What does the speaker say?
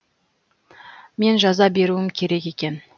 мен жаза беруім керек екен